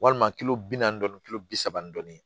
Walima kilo bi naani dɔɔnin kilo bi saba ni dɔɔni